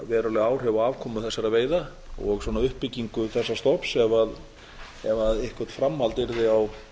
veruleg áhrif á afkomu þessara veiða og uppbyggingu þessa stofn ef eitthvert framhald yrði á